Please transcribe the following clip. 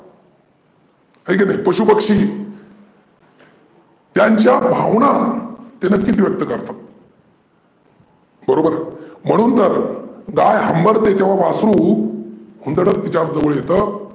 हाय का नाही. त्यांच्या भावना ते नक्कीचं व्यक्त करतात. बरोबर? म्हणून तर गाय हंम्बरते तेव्हा वासरू हुंदडत तिच्या जवळ येतं.